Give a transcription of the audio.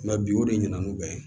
Nka bi o de ɲɛna n'u bɛn